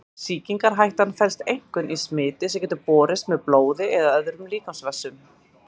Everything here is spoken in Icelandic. Sýkingarhættan felst einkum í smiti sem getur borist með blóði eða öðrum líkamsvessum.